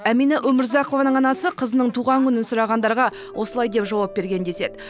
әмина өмірзақованың анасы қызының туған күнін сұрағандарға осылай деп жауап берген деседі